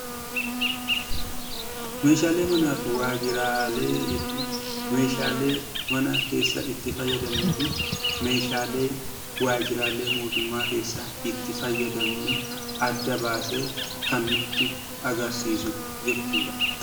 Meeshaalee manaa fi waajjiraalee jechuun meeshaalee mana keessa itti fayyadamnuu fi meeshaalee waajjiraalee mootummaa keessa itti fayyadamnu adda baasee kan nutti agarsiisu jechuudha.